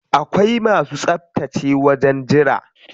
Akwai masu tsaftace wajen jira.